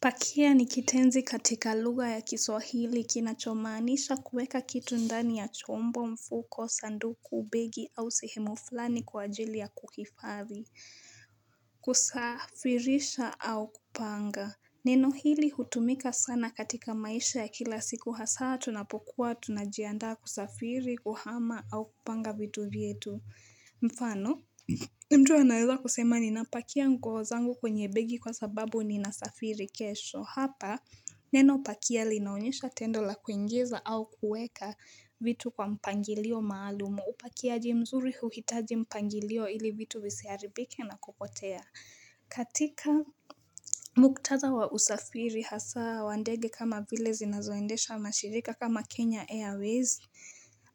Pakia ni kitenzi katika lugha ya kiswahili kinachomaanisha kuweka kitu ndani ya chombo, mfuko, sanduku, begi, au sehemu fulani kwa ajili ya kukihifadhi. Kusafirisha au kupanga. Neno hili hutumika sana katika maisha ya kila siku hasa tunapokuwa tunajiandaa kusafiri, kuhama au kupanga vitu vyetu. Mfano? Mtu anaweza kusema ninapakia nguo zangu kwenye begi kwa sababu ninasafiri kesho hapa neno pakia linaonyesha tendo la kuingiza au kueka vitu kwa mpangilio maalumu upakiaji mzuri huhitaji mpangilio ili vitu visiharibike na kupotea katika muktatha wa usafiri hasa wa ndege kama vile zinazoendeshwa na mashirika kama Kenya Airways